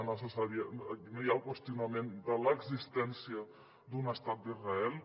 no hi ha el qüestionament de l’existència d’un estat d’israel